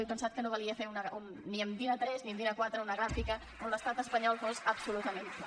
he pensat que no valia fer ni en din a3 ni en din a4 una gràfica on l’estat espanyol fos absolutament pla